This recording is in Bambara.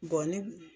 ni